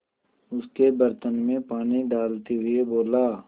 उसके बर्तन में पानी डालते हुए बोला